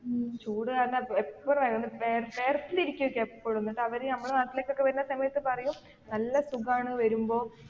ചൂടുകാരണം എപ്പോഴ് എന്നിട്ട് അവര് നമ്മടെ നാട്ടിലേക്കൊക്കെ വരുന്ന സമയത്ത് പറയും നല്ല സുഖാണ് വരുമ്പോൾ.